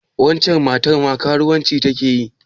Waccen matar ma karuwanci ta ke yi?